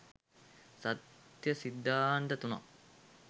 සත්‍ය සිද්ධාන්ත තුනක්